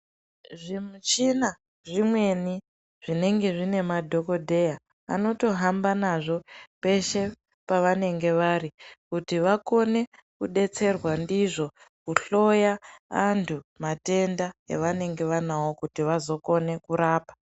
Zvimuchina zvimweni zvinenge zvine madhokodheya anotohamba nazvo peshe pavanongea vari kuti vakone kudetserwa ndozvo kuhloya antu matenda avanenge vanawo kuti vazokone kurapa.